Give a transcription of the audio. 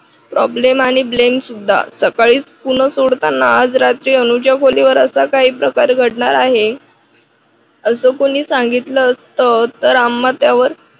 problem आणि blem सुद्धा सकाळी पुण सोडताना आज रात्री अनुच्या खोलीवर असा काही प्रकार घडणार आहे असं कोणी सांगितलं असतं तर आम्हा त्यावर